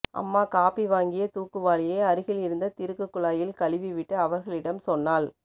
அம்மா காபி வாங்கிய தூக்குவாளியை அருகில் இருந்த திருக்கு குழாயில் கழுவிவிட்டு அவர்களிடம் சொன்னாள்